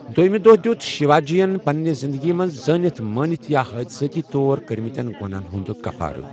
دوٚیمہِ دۄہ دِیُوت شیواجی یٚن پنِنہِ زِنٛدگی منٛز زٲنِتھ مٲنِتھ یا حٲدٕثٲتی طور کٔرمٕتین گۄنہَن ہُنٛد کفارٕ۔